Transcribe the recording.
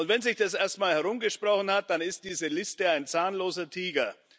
Und wenn sich das erstmal herumgesprochen hat, dann ist diese Liste ein zahnloser Tiger.